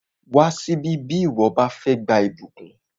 Wá síbí bí ìwọ bá fẹ́ gba ìbùkún!